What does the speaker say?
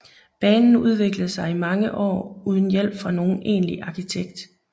Banen udviklede sig i mange år uden hjælp fra nogen egentlig arkitekt